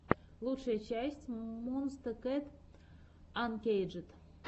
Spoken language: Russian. лучшая часть монсте кэт анкейджед